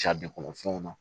kɔnɔfɛnw na